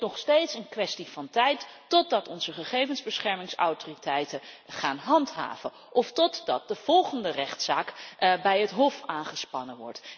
Het is nog steeds een kwestie van tijd, totdat onze gegevensbeschermingsautoriteiten gaan handhaven of totdat de volgende rechtszaak bij het Hof wordt aangespannen.